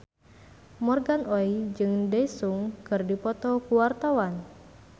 Morgan Oey jeung Daesung keur dipoto ku wartawan